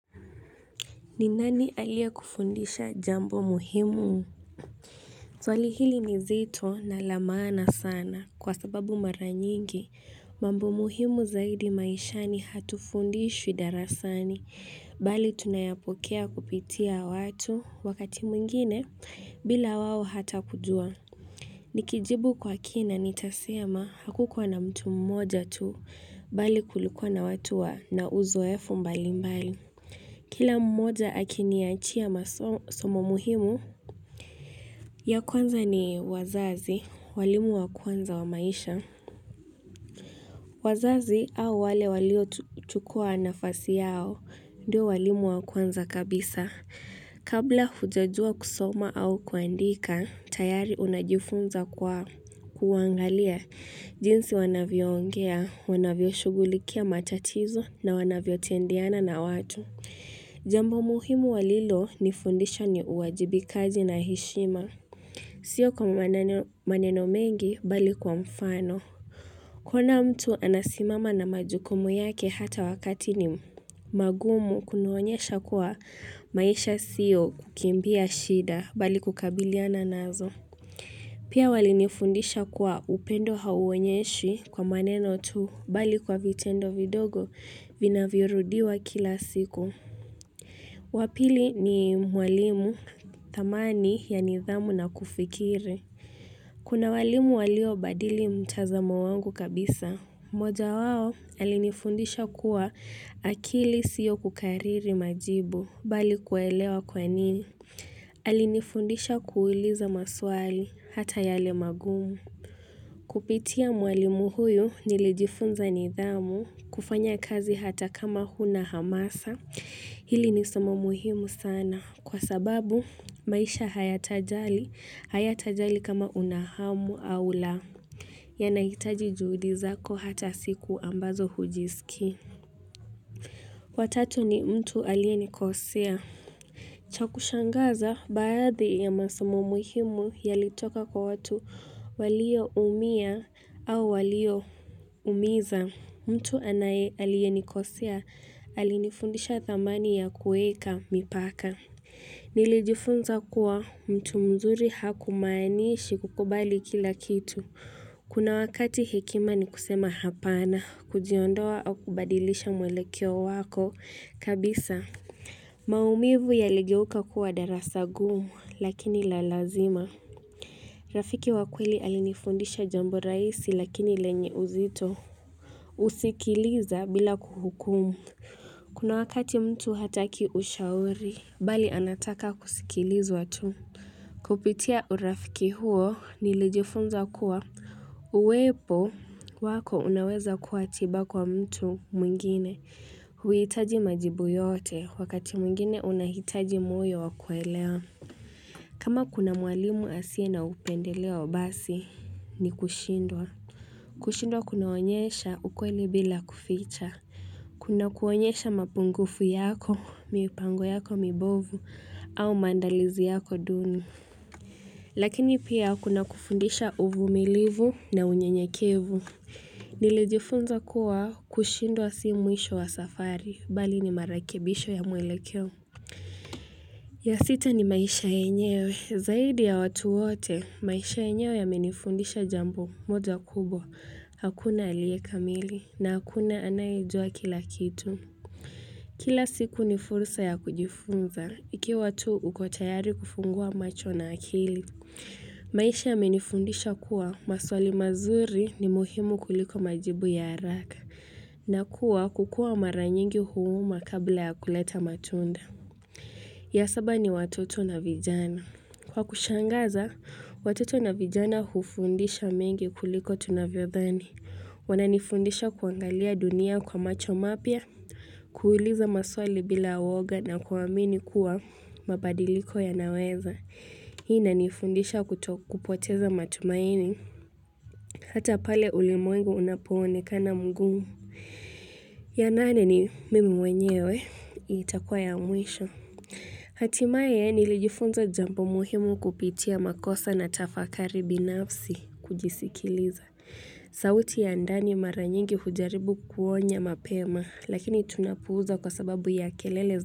Ni nani aliye kufundisha jambo muhimu? Swalihili ninzito na lamaana sana kwa sababu mara nyingi. Mambo muhimu zaidi maishani hatufundishwi darasani. Bali tunayapokea kupitia watu wakati mwingine bila wao hata kujua. Nikijibu kwa kina nitasema hakukuwa na mtu mmoja tu. Bali kulikuwa na watu wa na uzo efu mbalimbali. Kila mmoja akini achia masomo muhimu. Ya kwanza ni wazazi, walimu wa kwanza wa maisha. Wazazi au wale walio chukua nafasi yao, ndio walimu wa kwanza kabisa. Kabla hujajua kusoma au kuandika, tayari unajifunza kwa kuangalia jinsi wanavyo ongea, wanavyo shughulikia matatizo na wanavyo tendeana na watu. Jambo muhimu walilo ni fundisha ni uwajibi kaji na heshima Sio kwa maneno mengi bali kwa mfano kuona mtu anasimama na majukumu yake hata wakati ni magumu kunaonyesha kwa maisha siyo kukimbia shida bali kukabiliana nazo Pia wali nifundisha kuwa upendo hauonyeshwi kwa maneno tu bali kwa vitendo vidogo vina vyorudiwa kila siku Wapili ni mwalimu dhamani ya nidhamu na kufikiri. Kuna walimu walio badili mtazamo wangu kabisa. Moja wao alinifundisha kuwa akili sio kukariri majibu bali kuelewa kwa nini. Alinifundisha kuuliza maswali hata yale magumu. Kupitia mwalimu huyu nilijifunza nidhamu kufanya kazi hata kama huna hamasa. Hili ni somo muhimu sana kwa sababu maisha haya tajali haya tajali kama unahamu au laa. Yanahitaji juhudi zako hata siku ambazo hujisiki. Watatu ni mtu aliyenikosea. Chakushangaza baadhi ya masomo muhimu yalitoka kwa watu walio umia au walio umiza. Mtu anaye aliyenikosea, alinifundisha dhamani ya kuweka mipaka. Nilijifunza kuwa mtu mzuri haku manishi kukubali kila kitu. Kuna wakati hekima ni kusema hapana, kujiondoa au kubadilisha mwelekeo wako kabisa. Maumivu ya ligeuka kuwa darasagumu lakini la lazima. Rafiki wakweli alinifundisha jambo rahisi lakini lenye uzito. Kusikiliza bila kuhukumu Kuna wakati mtu hataki ushauri Bali anataka kusikilizwa tu Kupitia urafiki huo nilijifunza kuwa Uwepo wako unaweza kuatiba kwa mtu mwingine huhitaji majibu yote wakati mwingine unahitaji moyo wakuelea kama kuna mwalimu asiye na upendeleo basi ni kushindwa kushindwa kunaonyesha ukweli bila kuficha. Kuna kuonyesha mapungufu yako, mipango yako mibovu, au maandalizi yako duni. Lakini pia kuna kufundisha uvumilivu na unyenyekevu. Nilijifunza kuwa kushindwa si mwisho wa safari, bali ni marekebisho ya mwelekeo. Ya sita ni maisha yenyewe, zaidi ya watu wote, maisha yenyewe ya menifundisha jambo, moja kubwa hakuna alie kamili, na hakuna anayejua kila kitu. Kila siku ni fursa ya kujifunza, iki watu ukotayari kufungua macho na akili. Maisha ya menifundisha kuwa, maswali mazuri ni muhimu kuliko majibu ya haraka, na kuwa kukua maranyingi huuma kabla ya kuleta matunda. Ya saba ni watoto na vijana. Kwa kushangaza, watoto na vijana hufundisha mengi kuliko tunavyo dhani. Wananifundisha kuangalia dunia kwa macho mapya, kuuliza maswali bila uwoga na kuamini kuwa mabadiliko ya naweza. Hii inanifundisha kutokupoteza matumaini. Hata pale ulimwengu unapo onekana mugumu. Ya nane ni mimi mwenyewe, hii itakua ya mwisho. Hatimaye nilijifunza jambo muhimu kupitia makosa na tafakari binafsi kujisikiliza. Sauti ya ndani mara nyingi hujaribu kuonya mapema lakini tunapuuza kwa sababu ya kelele zao.